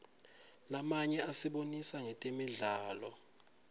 lamanye asibonisa ngetemidlalo